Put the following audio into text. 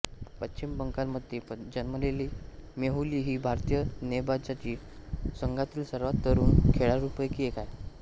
पश्चिम बंगालमध्ये जन्मलेली मेहुली ही भारतीय नेमबाजी संघातील सर्वात तरुण खेळाडूंपैकी एक आहे